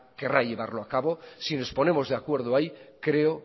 querrá llevarlo a cabo si nos ponemos de acuerdo ahí creo